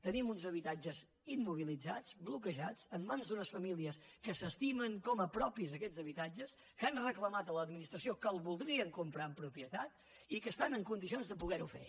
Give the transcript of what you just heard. tenim uns habitatges immobilitzats bloquejats en mans d’unes famílies que s’estimen com a propis aquests habitatges que han reclamat a l’administració que el voldrien comprar en propietat i que estan en condicions de poder ho fer